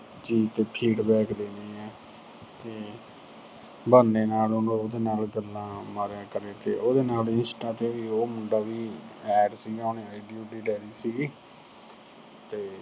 feedback ਦੇਣੇ ਆ। ਤੇ ਬਹਾਨੇ ਨਾਲ ਉਹਦੇ ਨਾਲ ਗੱਲਾਂ ਮਾਰਿਆ ਕਰੇ ਤੇ ਉਹਦੇ ਨਾਲ ਵੀ insta ਤੇ ਉਹ ਮੁੰਡਾ ਵੀ add ਸੀਗਾ, ਉਹਨੇ ID ਊਡੀ ਲੈ ਲੀ ਸੀਗੀ